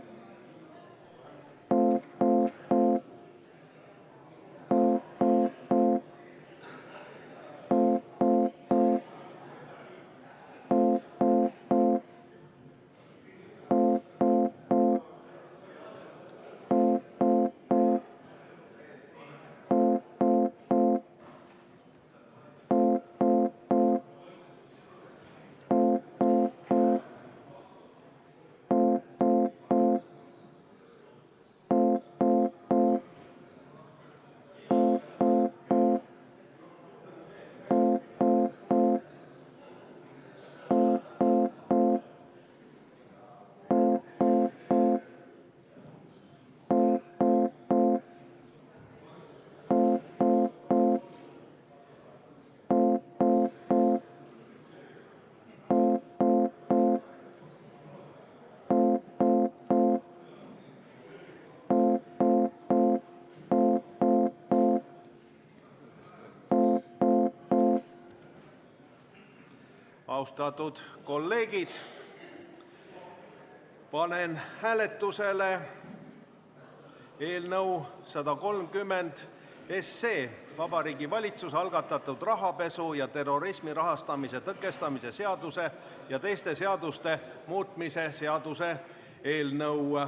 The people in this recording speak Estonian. Austatud kolleegid, panen hääletusele eelnõu 130, Vabariigi Valitsuse algatatud rahapesu ja terrorismi rahastamise tõkestamise seaduse ja teiste seaduste muutmise seaduse eelnõu.